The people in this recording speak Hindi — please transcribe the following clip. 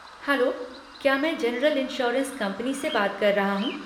हेलो, क्या मैं जेनरल इंश्योरेंस कंपनी से बात कर रहा हूँ?